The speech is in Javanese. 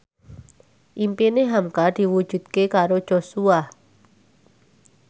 impine hamka diwujudke karo Joshua